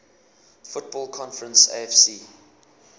football conference afc